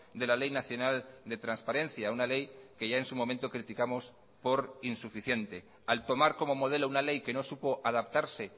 de la ley nacional de transparencia una ley que ya en su momento criticamos por insuficiente al tomar como modelo una ley que no supo adaptarse